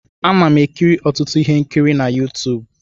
Ana m ekiri ọtụtụ ihe nkiri na Yuutubu.